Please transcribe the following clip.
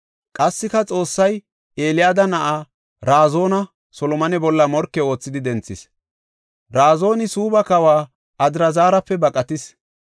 Qassika Xoossay Eliyaada na7aa Razoona Solomone bolla morke oothidi denthis. Razooni Suubba kawa Adraazarape baqatis.